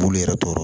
Bulu yɛrɛ tɔrɔ